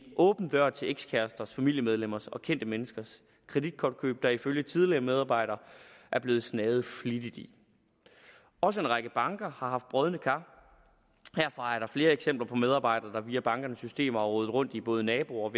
åben dør til ekskæresters familiemedlemmers og kendte menneskers kreditkortkøb som der ifølge tidligere medarbejdere er blevet snaget flittigt i også en række banker har haft brodne kar her er der flere eksempler på medarbejdere der via bankernes systemer har rodet rundt i både naboers